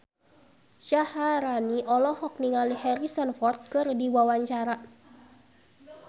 Syaharani olohok ningali Harrison Ford keur diwawancara